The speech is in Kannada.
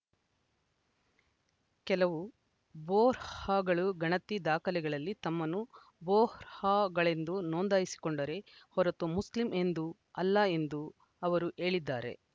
ಕೆಲವು ಬೋಹ್ರಾಗಳು ಗಣತಿ ದಾಖಲೆಗಳಲ್ಲಿ ತಮ್ಮನ್ನು ಬೋಹ್ರಾಗಳೆಂದು ನೋಂದಾಯಿಸಿಕೊಂಡರೇ ಹೊರತು ಮುಸ್ಲಿಂ ಎಂದು ಅಲ್ಲ ಎಂದು ಅವರು ಹೇಳಿದ್ದಾರೆ